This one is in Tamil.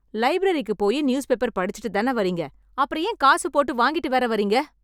லைப்ரரிக்கு போயி நியூஸ் பேப்பர் படிச்சுட்டுதான வர்றீங்க... அப்றம் ஏன் காசு போட்டு வாங்கிட்டு வேற வர்றீங்க?